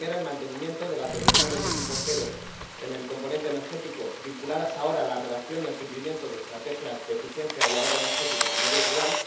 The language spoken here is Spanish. La primera, el mantenimiento de las deducciones de tipo cero en el componente energético, vinculadas ahora a la redacción y al cumplimiento de estrategias de eficiencia y ahorro energético en el medio rural